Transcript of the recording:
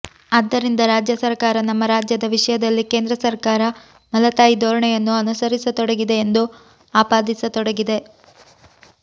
ಆದ್ದರಿಂದ ರಾಜ್ಯ ಸರಕಾರ ನಮ್ಮ ರಾಜ್ಯದ ವಿಷಯದಲ್ಲಿ ಕೇಂದ್ರ ಸರಕಾರ ಮಲತಾಯಿ ಧೋರಣೆಯನ್ನು ಅನುಸರಿಸತೊಡಗಿದೆ ಎಂದು ಆಪಾದಿಸತೊಡಗಿದೆ